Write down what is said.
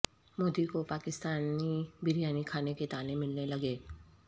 مودی کو پاکستانی بریانی کھانے کے طعنے ملنے لگے